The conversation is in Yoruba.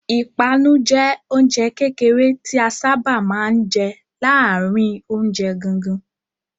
Ìpanu jẹ oúnjẹ kékeré tí a sáábà máa ń jẹ láàárin oúnjẹ gangan.